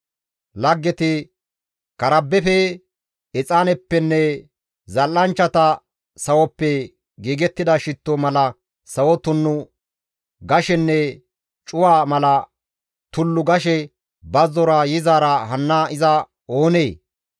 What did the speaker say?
«Karbbefe, exaaneppenne zal7anchchata sawoppe giigettida shitto mala sawo tunnu gashenne cuwa mala tullu gashe bazzora yizaara hanna iza oonee?